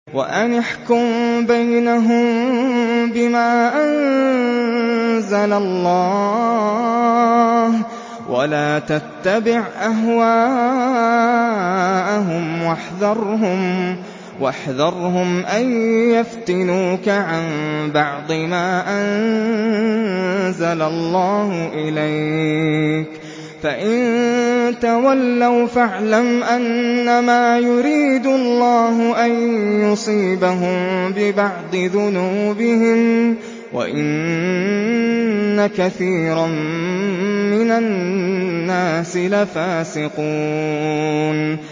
وَأَنِ احْكُم بَيْنَهُم بِمَا أَنزَلَ اللَّهُ وَلَا تَتَّبِعْ أَهْوَاءَهُمْ وَاحْذَرْهُمْ أَن يَفْتِنُوكَ عَن بَعْضِ مَا أَنزَلَ اللَّهُ إِلَيْكَ ۖ فَإِن تَوَلَّوْا فَاعْلَمْ أَنَّمَا يُرِيدُ اللَّهُ أَن يُصِيبَهُم بِبَعْضِ ذُنُوبِهِمْ ۗ وَإِنَّ كَثِيرًا مِّنَ النَّاسِ لَفَاسِقُونَ